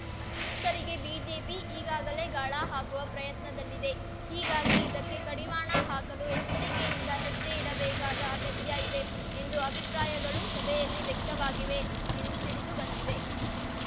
ಅತೃಪ್ತರಿಗೆ BJP ಈಗಾಗಲೇ ಗಾಳ ಹಾಕುವ ಪ್ರಯತ್ನದಲ್ಲಿದೆ ಹೀಗಾಗಿ ಇದಕ್ಕೆ ಕಡಿವಾಣ ಹಾಕಲು ಎಚ್ಚರಿಕೆಯಿಂದ ಹೆಜ್ಜೆ ಇಡಬೇಕಾದ ಅಗತ್ಯ ಇದೆ ಎಂದು ಅಭಿಪ್ರಾಯಗಳು ಸಭೆಯಲ್ಲಿ ವ್ಯಕ್ತವಾಗಿವೆ ಎಂದು ತಿಳಿದು ಬಂದಿದೆ